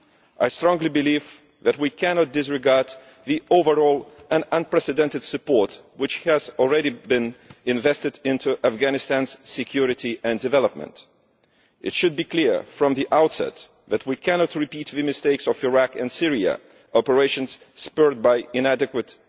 I strongly believe that we cannot disregard the overall and unprecedented support which has already been invested in Afghanistan's security and development. It should be clear from the outset that we cannot repeat the mistakes of Iraq and Syria, where our actions were inadequate.